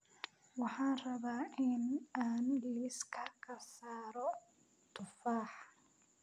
Waxaan rabaa in aan liiska ka saaro tufaax